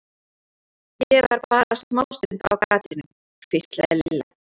Ég var bara smástund á gatinu. hvíslaði Lilla.